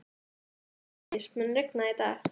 Koldís, mun rigna í dag?